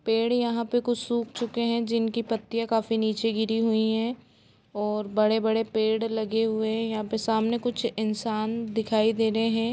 पेड़ यहाँ पे कुछ सूख चुके हैं जिनकी पत्तियाँ काफी नीचे गिरी हुई हैं और बड़े-बड़े पेड़ लगे हुए हैं यहाँ पे सामने कुछ इंसान दिखाई दे रहे हैं।